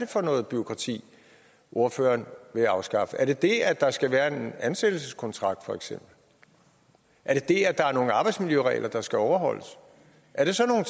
for noget bureaukrati ordføreren vil afskaffe er det det at der skal være en ansættelseskontrakt er det det at der er nogle arbejdsmiljøregler der skal overholdes er det sådan